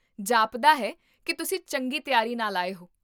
ਜਾਪਦਾ ਹੈ ਕੀ ਤੁਸੀਂ ਚੰਗੀ ਤਿਆਰੀ ਨਾਲ ਆਏ ਹੋ